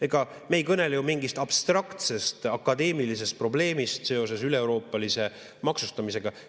Ega me ei kõnele ju mingist abstraktsest akadeemilisest probleemist seoses üleeuroopalise maksustamisega.